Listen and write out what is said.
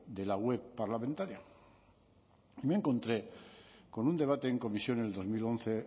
de la web parlamentaria y me encontré con un debate en comisión en el dos mil once